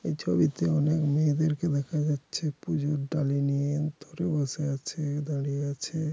এই ছবিতে অনেক মেয়েদেরকে দেখা যাচ্ছে পুজোর ডালি নিয়ে ধরে বসে আছে দাঁড়িয়ে আছে।